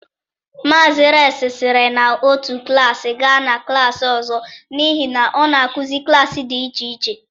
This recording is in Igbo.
Mazị Reks siri na otu klaasị gaa na klaasị ọzọ n’ihi na ọ na-akụzi klaasị dị iche iche.